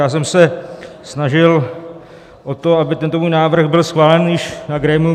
Já jsem se snažil o to, aby tento můj návrh byl schválen už na grémiu.